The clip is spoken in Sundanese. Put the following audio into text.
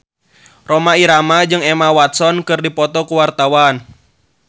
Rhoma Irama jeung Emma Watson keur dipoto ku wartawan